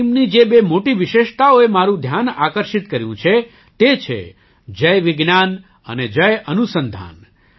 આ ટીમની જે બે મોટી વિશેષતાઓએ મારું ધ્યાન આકર્ષિત કર્યું છે તે છે જય વિજ્ઞાન અને જય અનુસંધાન